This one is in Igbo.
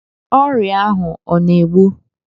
Ọrịa ahụ ọ na-egbu?